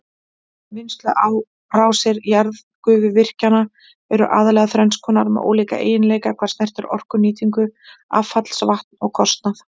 Vinnslurásir jarðgufuvirkjana eru aðallega þrenns konar með ólíka eiginleika hvað snertir orkunýtingu, affallsvatn og kostnað.